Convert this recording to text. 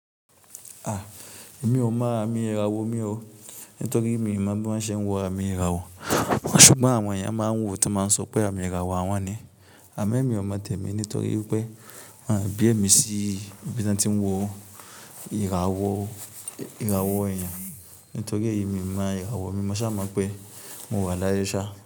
A! Èmi ò mọ̀, àmi ìràwọ̀ mi o. Nítorí mi mọ̀ bí wọ́n ṣe ń wo àmì ìràwọ̀. Ṣùgbọ́n àwọn èèyàn máa ń wò ó tí wọ́n máa ń sọ pé àmì ìràwọ̀ àwọn ni. Àmẹ́ mi ò mọ̀ tẹ́mi nítorí pé wọ́n àbí èmi sí ibi tí wọ́n ti ń wo ìràwọ̀, ìràwọ̀ èèyàn. Nítorí èyí mi mọ ìràwọ̀, mi mo ṣàmọ́ pé mo wà láyé ṣá.